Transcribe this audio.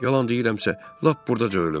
Yalan deyirəmsə lap buradaca ölüm.